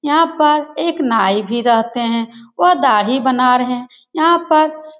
यहां पर एक नाई भी रहते हैं वह दाढ़ी बना रहे हैं यहां पर --